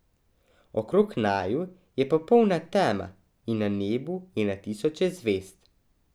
Okrog naju je popolna tema in na nebu je na tisoče zvezd.